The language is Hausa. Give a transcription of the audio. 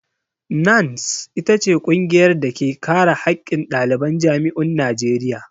NANS ita ce ƙungiyar da ke kare haƙƙin ɗaliban jami'un Najeriya.